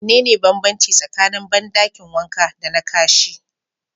Mene ne banbanci tsakanin bandakin wanka dana Kashi?